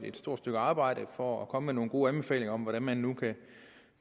et stort stykke arbejde for at komme med nogle gode anbefalinger om hvordan man nu